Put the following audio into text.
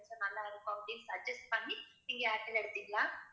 இல்ல நல்ல இருக்கும் அப்பிடின்னு suggest பண்ணி நீங்க ஏர்டெல் எடுத்திங்களா